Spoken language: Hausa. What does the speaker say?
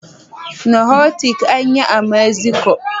Nahuatl ak yi a Mexico